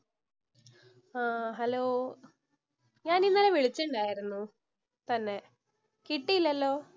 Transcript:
ആഹ് hello, ഞാൻ ഇന്നലെ വിളിച്ചിണ്ടാരുന്നു തന്നെ? കിട്ടിയില്ലല്ലോ?